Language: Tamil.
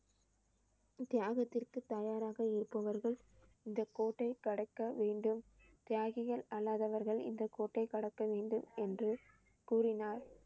தியாகத்திற்கு தயாராக இருப்பவர்கள் இந்த கோட்டை கடக்க வேண்டும். தியாகிகள் அல்லாதவர்கள் இந்த கோட்டை கடக்க வேண்டாம் என்று கூறினார்.